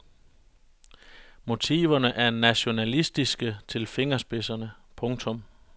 Motiverne er nationalistiske til fingerspidserne. punktum